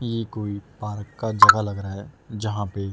ये कोई पार्क का जगह लग रहा है जहां पे--